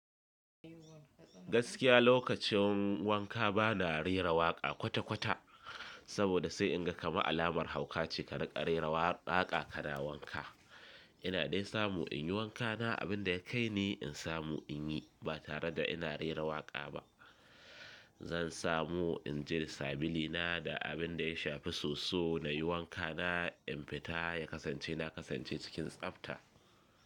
Gaskiya lokacin wanka bana rera waƙa kwata-kwata saboda sai in ga kamar alamar hauka ce ka riƙa rera waƙa ka na wanka. Ina dai samu in yi wanka na abin da ya kai ni in samu in yi ba tare da ina rera waƙa ba. Zan samu in je da sabili na da abin da ya shafi soso na yi wanka na in fita ya kasance na kasance cikin tsabta.